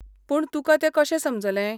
पूण तुका तें कशें समजलें?